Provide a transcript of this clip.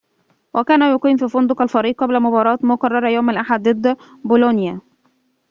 وكان يقيم في فندق الفريق قبل مباراة مقررة يوم الأحد ضد بولونيا